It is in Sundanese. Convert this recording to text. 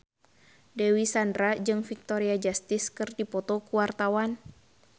Dewi Sandra jeung Victoria Justice keur dipoto ku wartawan